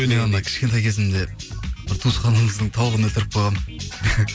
мен анау кішкентай кезімде бір туысқанымыздың тауығын өлтіріп қойғанмын